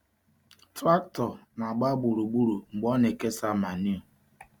Traktọ na-agba gburugburu mgbe ọ na-ekesa manio.